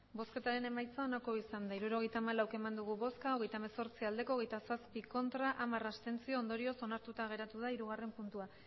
emandako botoak hirurogeita hamalau bai hogeita hemezortzi ez hogeita zazpi abstentzioak hamar ondorioz onartuta geratu da hirugarren puntua